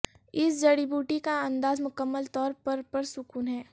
اس جڑی بوٹی کا انداز مکمل طور پر پرسکون ہے